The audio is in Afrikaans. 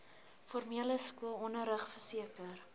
formele skoolonderrig verseker